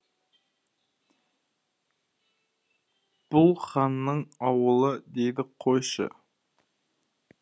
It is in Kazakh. бұл ханның ауылы дейді қойшы